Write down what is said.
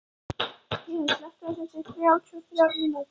Héðinn, slökktu á þessu eftir þrjátíu og þrjár mínútur.